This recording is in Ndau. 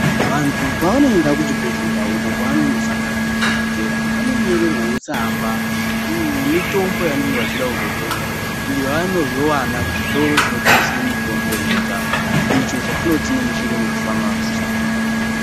Vantu pavanoenda kuchibhehlera uko kwavanosangana nadhokodheya vanonyorerwawo tsamba yemitombo yavanenge vachida kuzotenga iyo yavanozowana kuzvitoro zvinotengese mutombo yega icho chatinoti nemuchirungu famasi.